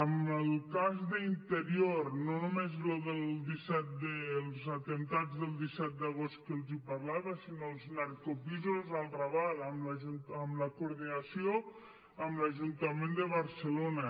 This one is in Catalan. en el cas d’interior no només això dels atemptats del disset d’agost que els parlava sinó els narcopisos al raval amb la coordinació amb l’ajuntament de barcelona